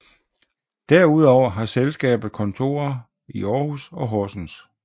Derudover har selskabet kontorer i Aarhus og Horsens